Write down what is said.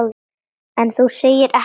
En þú segir ekkert.